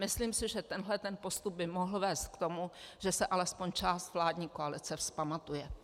Myslím si, že tento postup by mohl vést k tomu, že se alespoň část vládní koalice vzpamatuje.